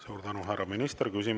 Suur tänu, härra minister!